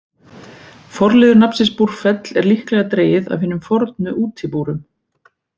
Forliður nafnsins Búrfell er líklega dregið af hinum fornu útibúrum.